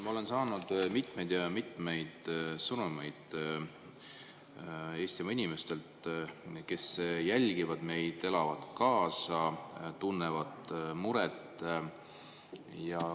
Ma olen saanud mitmeid ja mitmeid sõnumeid Eestimaa inimestelt, kes jälgivad meid, elavad kaasa, tunnevad muret.